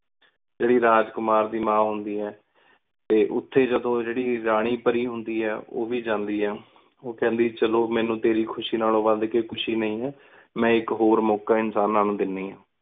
ਜੇਡੀ ਰਾਜ ਕੁਮਾਰ ਦੀ ਮਾ ਹੁੰਦੀ ਆ ਤੇ ਉਥੇ ਜਦੋ ਜੇਦੀ ਰਾਨੀ ਪਾਰੀ ਹੁੰਦੀ ਆ ਓਵੀ ਜਾਂਦੀ ਆ। ਓ ਕੰਦੀ ਚਲੋ ਮੀਨੁ ਤੇਰੀ ਖੁਸ਼ੀ ਨਾਲੋਂ ਵੱਧ ਕੇ ਖੁਸ਼ੀ ਨੀ ਆ ਮੈਂ ਏਕ ਹੋਰ ਮੋਕਾ ਇਨਸਾਨਾ ਨੂੰ ਦੇਨਿ ਆ।